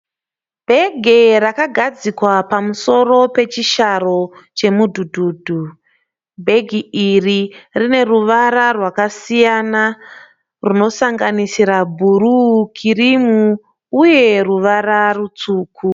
Bhege rakagadzikwa pamusoro pechisharo chemudhudhudhu. Bhegi iri rine ruvara rwakasiyana runosanganisira bhuruu, kirimu uye ruvara rutsvuku.